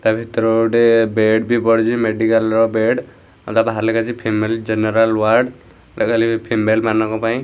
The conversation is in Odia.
ତା ଭିତରେ ଗୋଟେ ବେଡ଼୍‌ ବି ପଡିଛି ମେଡିକାଲ୍‌ ର ବେଡ଼୍‌ ଆଉ ତା ବାହାରେ ଲେଖା ହେଇଛି ଫିମେଲ୍‌ ଜେନେରାଲ୍‌ ୱାର୍ଡ ଏଟା ଖାଲି ଫିମେଲ ମାନଙ୍କ ପାଇଁ --